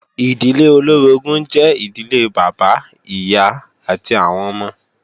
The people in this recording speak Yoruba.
Ìdílé olóorogún jẹ́ ìdílé Bàbá, Ìyá àti àwọn ọmọ